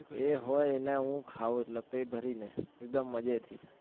એ હોય ને હું ખાઉં એટલે પેટ ભરી ને એકદમ મજે થી